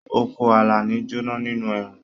Oko Àlàní jona nínú ẹ̀rùn.